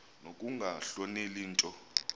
nokunga hloneli nto